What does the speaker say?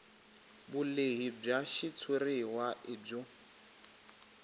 vulehi bya xitshuriwa i byo